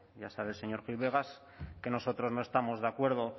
ya sabe señor gil vegas que nosotros no estamos de acuerdo